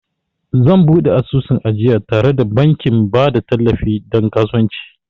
Zan buɗe asusun ajiya tare da bankin ba da tallafi don kasuwanci